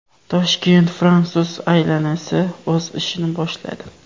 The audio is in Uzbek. Toshkent fransuz alyansi o‘z ishini boshladi.